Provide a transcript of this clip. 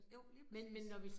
Jo, lige præcis